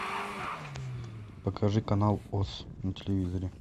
покажи канал оз на телевизоре